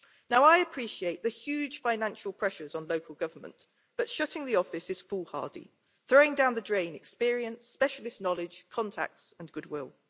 Now I appreciate the huge financial pressures on local government, but shutting the office is foolhardy, throwing down the drain experienced specialist knowledge, contacts and goodwill.